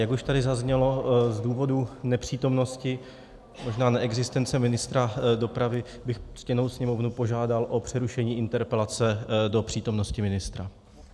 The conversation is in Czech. Jak už tady zaznělo, z důvodu nepřítomnosti, možná neexistence ministra dopravy bych ctěnou Sněmovnu požádal o přerušení interpelace do přítomnosti ministra.